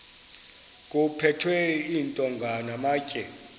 kuphethwe iintonga namatye